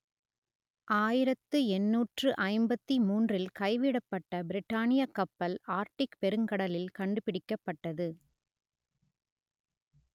ஆயிரத்து எண்ணூற்று ஐம்பத்தி மூன்றில் கைவிடப்பட்ட பிரிட்டானியக் கப்பல் ஆர்க்டிக் பெருங்கடலில் கண்டுபிடிக்கப்பட்டது